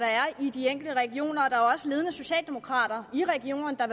er i de enkelte regioner der er jo også ledende socialdemokrater i regionerne der